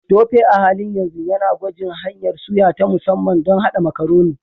Tope a halin yanzu yana gwajin hanyar suya ta musamman don haɗa Macaroni.